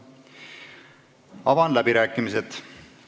Avan läbirääkimised.